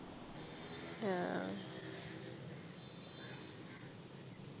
ആഹ്